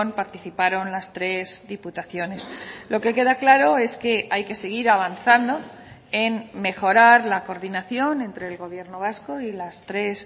participaron las tres diputaciones lo que queda claro es que hay que seguir avanzando en mejorar la coordinación entre el gobierno vasco y las tres